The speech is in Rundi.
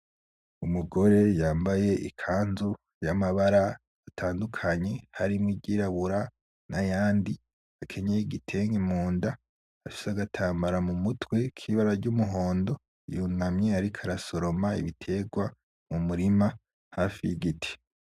Umugore yambaye ikanzu y'amabara atandukanye harimwo iryirabura nayandi, akenyeye igitenge munda afise agatambara mumutwe kibara ryumuhondo, yunamye ariko arasosoma ibiterwa mumurima hafi yigiti .